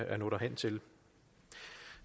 at nå derhen til